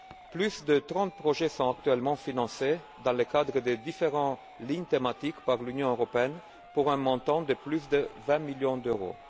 Plus de trente projets sont actuellement financés dans le cadre des différentes lignes thématiques par l'Union européenne pour un montant de plus de vingt millions d'euros.